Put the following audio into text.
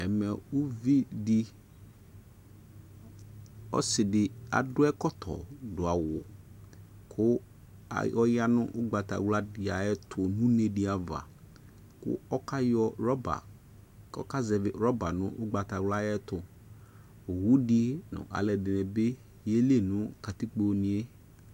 ɛmɛ ɔsɩdɩ akɔ ɛkɔtɔ dʊ awu, kʊ ɔya nʊ ugbatawladɩ ay'ɛtʊ, nʊ unedɩ ava, ɔkayɔ zɛvi aŋẽ nʊ ugbatawla yɛ ayʊ ɛtʊ, owudɩ nʊ aluɛdɩnɩ bɩ yeli nʊ katikpo yɛ